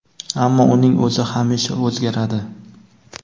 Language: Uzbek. ammo uning o‘zi hamisha o‘zgaradi.